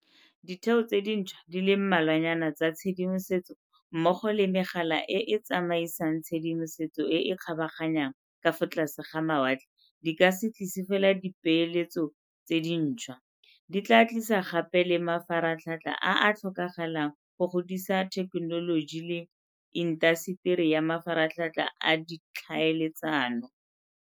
Ditheo tse dintšhwa di le mmalwanyana tsa tshedimosetso mmogo le megala e e tsamaisang tshedimosetso e e kgabaganyang ka fa tlase ga mawatle di ka se tlise fela dipeeletso tse dintšhwa, di tla tlisa gape le mafaratlhatlha a a tlhokagalang go godisa thekenoloji le intaseteri ya mafaratlhatlha a ditlhaele tsano.